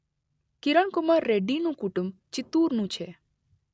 કિરણ કુમાર રેડ્ડીનું કુટુંબ ચિત્તૂરનું છે.